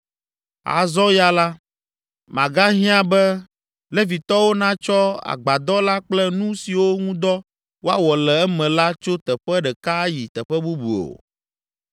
Azɔ ya la, magahiã be Levitɔwo natsɔ Agbadɔ la kple nu siwo ŋu dɔ woawɔ le eme la tso teƒe ɖeka ayi teƒe bubu o.”